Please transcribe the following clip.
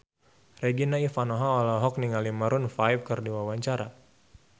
Regina Ivanova olohok ningali Maroon 5 keur diwawancara